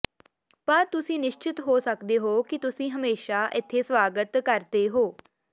ਪਰ ਤੁਸੀਂ ਨਿਸ਼ਚਤ ਹੋ ਸਕਦੇ ਹੋ ਕਿ ਤੁਸੀਂ ਹਮੇਸ਼ਾ ਇੱਥੇ ਸਵਾਗਤ ਕਰਦੇ ਹੋ